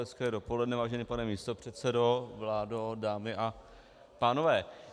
Hezké dopoledne, vážený pane místopředsedo, vládo, dámy a pánové.